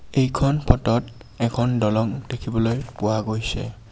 এইখন ফটোত এখন দলং দেখিবলৈ পোৱা গৈছে।